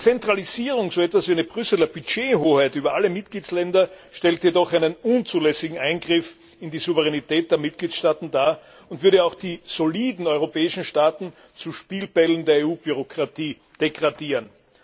Eine Zentralisierung, so etwas wie eine Brüsseler Budgethoheit über alle Mitgliedsländer, stellt jedoch einen unzulässigen Eingriff in die Souveränität der Mitgliedstaaten dar und würde auch die soliden europäischen Staaten zu Spielbällen der EU Bürokratie degradieren.